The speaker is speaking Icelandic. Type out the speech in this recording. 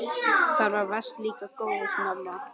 Þú varst líka góð mamma.